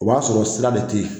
O b'a sɔrɔ sira de tɛ yen